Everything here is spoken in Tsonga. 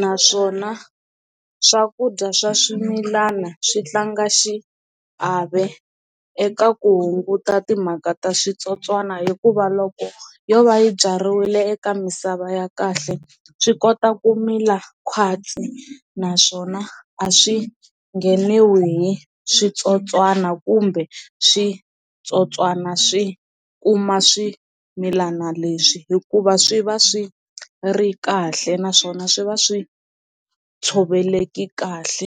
naswona swakudya swa swimilana swi tlanga xiave eka ku hunguta timhaka ta switsotswana hikuva loko yo va yi byariwile eka misava ya kahle swi kota ku mila kwasa naswona a swi ngheniwi hi switsotswana kumbe switsotswana swi kuma swimilana leswi hikuva swi va swi ri kahle naswona swi va swi tshoveleke kahle.